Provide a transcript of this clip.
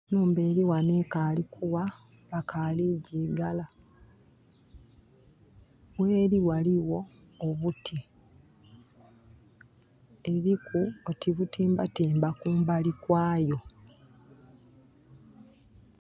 Enhumba eri ghano ekali kugha bakali kugigala, gheri ghaligho obuti, eriku oti butimbatimba kumbali kwayo.